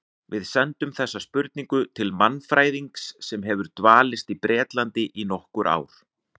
Við sendum þessa spurningu til mannfræðings sem hefur dvalist á Bretlandi í nokkur ár.